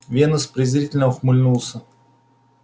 венус презрительно ухмыльнулся